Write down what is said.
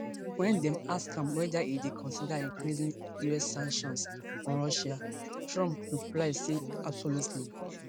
wen dem ask am about weda e dey consider increasing us sanctions on russia trump reply say absolutely